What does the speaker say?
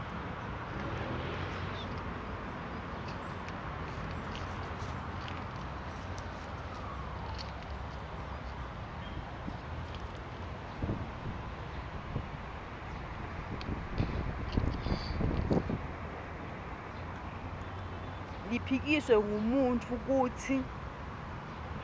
liphikiswe ngumuntfu kutsi